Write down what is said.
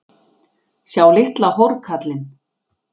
Sjá litla hórkallinn!